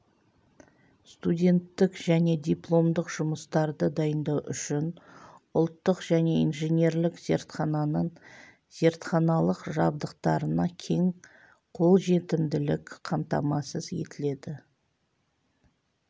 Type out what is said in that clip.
студенттік және дипломдық жұмыстарды дайындау үшін ұлттық және инженерлік зертхананың зертханалық жабдықтарына кең қолжетімділік қамтамасыз етіледі